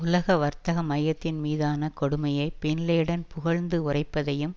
உலக வர்த்தக மையத்தின் மீதான கொடுமையை பின் லேடன் புகழ்ந்து உரைப்பதையும்